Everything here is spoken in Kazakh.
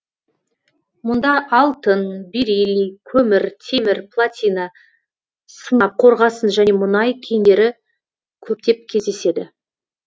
мұнда алтын бериллий көмір темір платина сынап қорғасын және мұнай кендері көптеп кездеседі